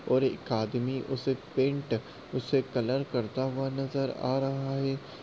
और एक आदमी उसे पेन्ट उसे कलर करता हुआ नज़र आ रहा है।